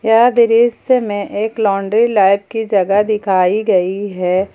यह दृश्य में एक लॉन्ड्री लैब की जगह दिखाई गई है।